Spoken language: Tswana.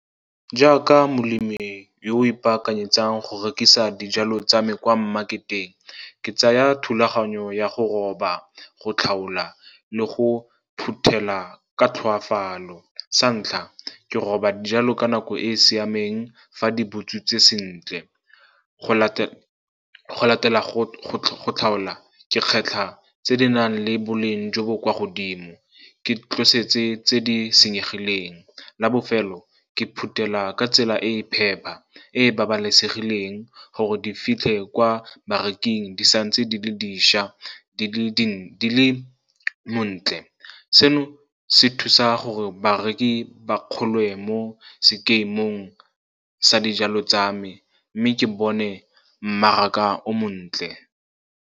Jaaka molemi yo o ipaakanyetsang go rekisa dijalo tsa me kwa mmaketeng, ke tsaya thulaganyo ya go roba, go tlhaola le go phuthela ka tlhoafalo. Sa ntlha, ke roba dijalo ka nako e e siameng fa di butswitseng sentle. Go latela go tlhaola, ke kgetlha tse di nang le boleng jo bo kwa godimo, ke tlosetse tse di senyegileng. La bofelo, ke phutela ka tsela e e phepa, e e babalesegileng gore di fitlhe kwa bareking di sa ntse di le dišwa, di le montle. Seno se thusa gore bareki ba kgolwe mo sekemong sa dijalo tsa me, mme ke bone mmaraka o montle.